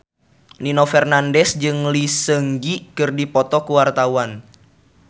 Nino Fernandez jeung Lee Seung Gi keur dipoto ku wartawan